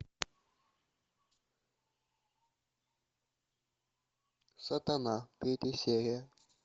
сатана третья серия